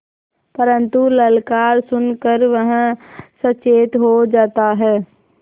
परन्तु ललकार सुन कर वह सचेत हो जाता है